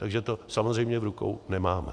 Takže to samozřejmě v rukou nemáme.